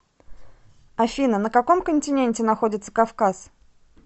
афина на каком континенте находится кавказ